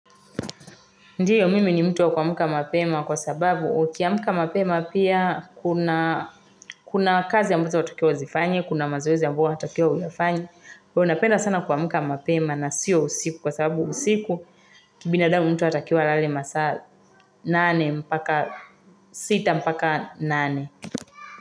Ndiyo mimi ni mtu wa kuamka mapema kwa sababu ukiamka mapema pia kuna kazi ambazo unatakiwa uzifanye, kuna mazoezi ambayo unatakia uyafanye. Kwaio napenda sana kuamka mapema na siyo usiku kwa sababu usiku kibina damu mtu anatakia alale masaa nane mpaka sita mpaka nane.